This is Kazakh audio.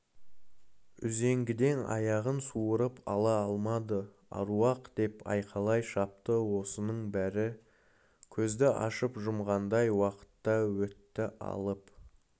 үзеңгіден аяғын суырып ала алмады аруақ деп айқайлай шапты осының бәрі көзді ашып-жұмғандай уақытта өтті алып